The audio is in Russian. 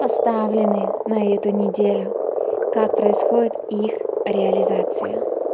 поставленные на эту неделю как происходит их реализация